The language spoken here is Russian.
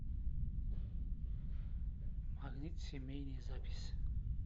магнит семейный запись